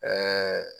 Ɛɛ